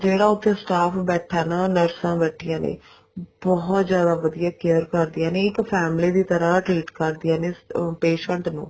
ਜਿਹੜਾ ਉੱਥੇ staff ਬੈਠਾ ਨਾ ਨਰਸਾਂ ਬੈਠੀਆਂ ਨੇ ਬਹੁਤ ਜਿਆਦਾ ਵਧੀਆ care ਕਰਦੀਆਂ ਨੇ ਇੱਕ family ਦੀ ਤਰ੍ਹਾਂ treat ਕਰਦਿਆਂ ਨੇ patient ਨੂੰ